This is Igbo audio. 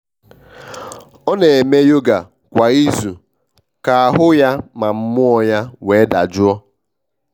ọ n'eme yoga kwa izu ka ahụ ya ma mmuo ya nwee ndajọ